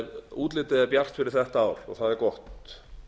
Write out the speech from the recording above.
útlitið er bjart fyrir þetta ár og það er gott